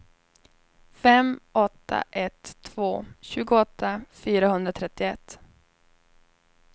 fem åtta ett två tjugoåtta fyrahundratrettioett